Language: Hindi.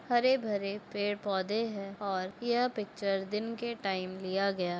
हरे भरे पेड़ पोधे है और यह पिक्चर दिन के टाइम लिया गया है।